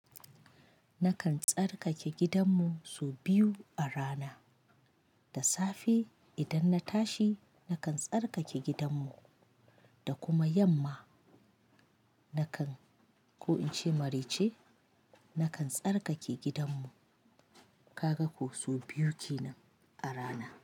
Nakan tsarkake gidanmu sau biyu a rana, da safe idan na tashi nakan tsarkake gidanmu da kuma yamma nakan ko in ce maraice, nakan tsarkake gidanmu. Kaga ko sau biyu kenan a rana.